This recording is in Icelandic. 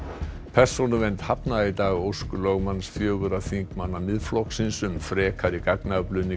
persónuvernd hafnaði í dag ósk lögmanns fjögurra þingmanna Miðflokksins um frekari gagnaöflun í